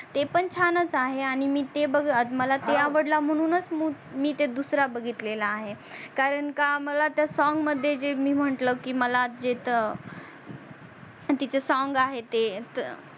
ते पण छानच आहे आणि मी ते बग मला ते आवडला म्हणूनच मी दूसरा बगीतलेला आहे कारण का मला त्या song मध्ये जे मी म्हटल की मला जेत तिचे song आहे ते